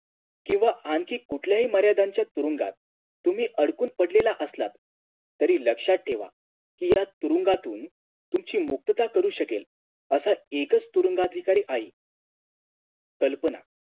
किव्हा आणखीन कुठल्याही मार्यांद्यांच्या तुरुंगात तुम्ही अडकून पडलेले असलात तरी लक्ष्यात ठेवा कि या तुरुंगातून तुमची मुक्तता करू शकेन असा एकच तुरुंगाधिकारी आहे कल्पना